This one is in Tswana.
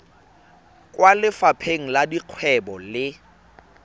kwa lefapheng la dikgwebo le